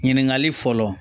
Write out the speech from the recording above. Ɲininkali fɔlɔ